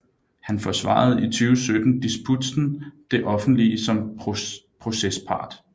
Han forsvarede i 2017 disputsen Det offentlige som procespart